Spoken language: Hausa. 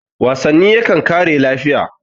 wasanni yakan kare lafiya